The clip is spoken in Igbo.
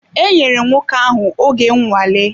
E nyèrè nwoke ahụ oge nnwale